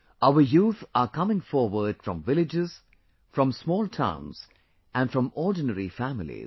Our youth are coming forward from villages, from small towns and from ordinary families